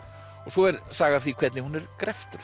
svo er saga af því hvernig hún er